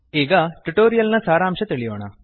ಈಗ ಟ್ಯುಟೋರಿಯಲ್ ನ ಸಾರಾಂಶ ತಿಳಿಯೋಣ